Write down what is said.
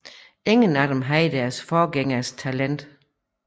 Ingen af dem havde deres forgængers talent